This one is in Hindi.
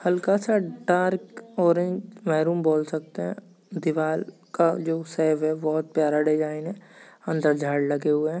हलका स डार्क ऑरेंज मैरून बोल सकते है दीवाल का जो शेप है बहुत प्यारा डिजाइन है अंदर झाड लगे हुए है।